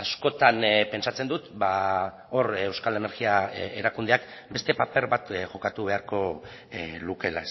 askotan pentsatzen dut hor euskal energia erakundeak beste paper bat jokatu beharko lukeela